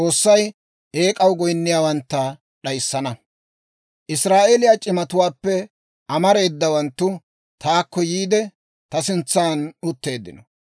Israa'eeliyaa c'imatuwaappe amareedawanttu taakko yiide, ta sintsan utteeddino.